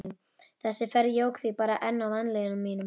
Þessi ferð jók því bara enn á vanlíðan mína.